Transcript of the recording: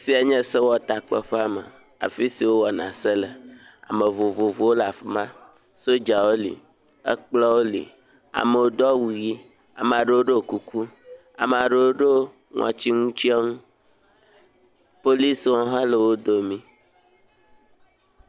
afisia nye sewɔtakpeƒea me afisi wó wɔna se le ame vovovowo le afima, sodzawo li ekplɔwo li amewo do awu yi amaɖewo ɖo kuku amaɖewo ɖó ŋɔtsiŋutsɔŋu policwo hã le wó domi